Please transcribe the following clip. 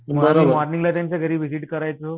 मॉर्निगला त्यांच्या घरी विझिट करायचो